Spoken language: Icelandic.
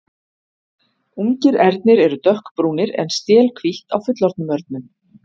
ungir ernir eru dökkbrúnir en stél hvítt á fullorðnum örnum